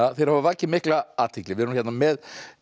hafa vakið mikla athygli við erum hérna með